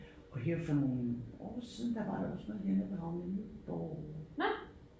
Og her for nogle år siden der var der også noget hernede på havnen i Nyborg